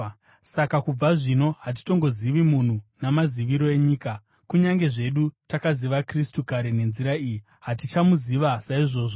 Saka kubva zvino hatitongozivi munhu namaziviro enyika. Kunyange zvedu takaziva Kristu kare nenzira iyi, hatichamuziva saizvozvo.